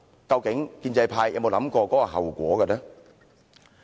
究竟建制派有沒有想到這後果？